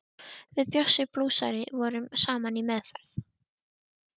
Við Bjössi blúsari vorum saman í meðferð.